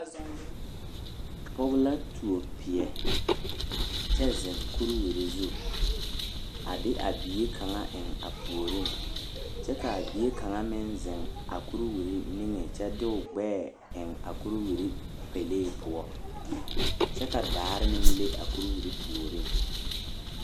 Pɔge la tuo peɛ kyɛ zeŋ kuriwiri zu a de a bie kaŋ eŋ a puoriŋ kyɛ k,a bie kaŋa meŋ zeŋ a kuriwiri niŋe kyɛ de o gbɛɛ eŋ a kuriwiri pɛlee poɔ kyɛ ka daare meŋ le a kuriwiri puoriŋ.